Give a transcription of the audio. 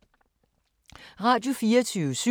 Radio24syv